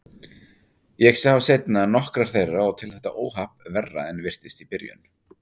Ég sá seinna nokkrar þeirra og tel þetta óhapp verra en virtist í byrjun.